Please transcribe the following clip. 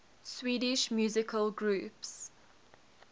swedish musical groups